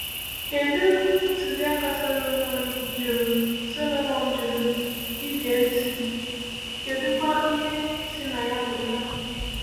Kedụ ntụziaka Solomon jụrụ Solomon jụrụ ịge ntị, kedụkwa ihe si na ya pụta?